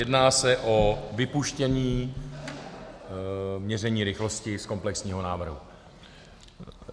Jedná se o vypuštění měření rychlosti z komplexního návrhu.